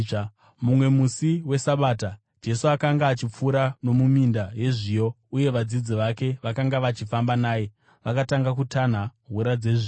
Mumwe musi weSabata, Jesu akanga achipfuura nomuminda yezviyo, uye vadzidzi vake vakanga vachifamba naye, vakatanga kutanha hura dzezviyo.